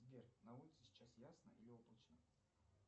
сбер на улице сейчас ясно или облачно